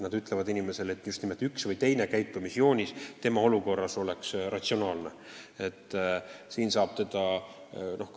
Nad ütlevad inimesele, et üks või teine käitumisjoonis oleks tema olukorras ratsionaalne.